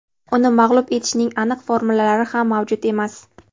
Uni mag‘lub etishning aniq formulalari ham mavjud emas.